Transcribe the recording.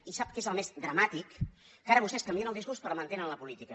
i sap què és el més dramàtic que ara vostès canvien el discurs però mantenen la política